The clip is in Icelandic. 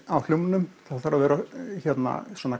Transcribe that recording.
á hljómnum það þarf að vera svona